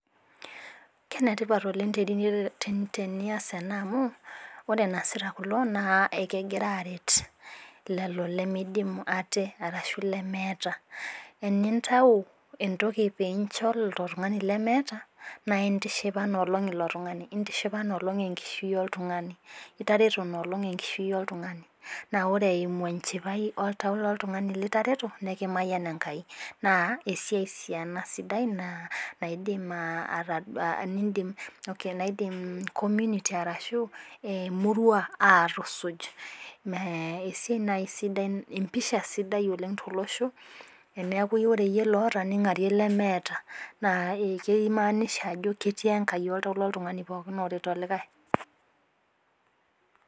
Kenetipat oleng' tenias ena amu, ore eneasita kulo naa ekegira aaret lelo lemeidimu aate arashu leeeta, enintau entoki niincho ilo lemeeta, naa intishipa ina olong' ilo tung'ani, intishipa ina olong' enkishui oltung'ani, itareto ina olong' enkishui oltung'ani. Naa ore eimu enchipai oltau oltung'anni litareto, nekimayian Enkai, naa esiai ena sidai naidim community arashu emurua aatusuj. Empisha sidai oleng' tolosho teneaku ore iiyie loata ning'arie likai lemeeta. Naa keimaanisha ajo ketii Enkai oltau le pooki tung'ani loret olikai.